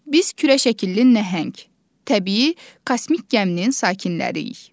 Biz kürə şəkilli nəhəng təbii kosmik gəminin sakinləriyik.